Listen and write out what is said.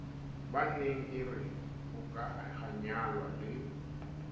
baneng e re hokahanya le